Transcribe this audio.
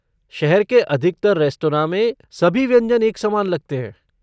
शहर के अधिकतर रेस्तरॉ में, सभी व्यंजन एक समान लगते हैं।